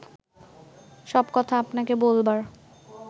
সব কথা আপনাকে বলবার